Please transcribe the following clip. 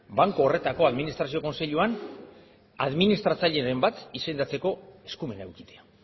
banku horretako administrazio kontseiluan administratzaileren bat izendatzeko eskumena edukitzea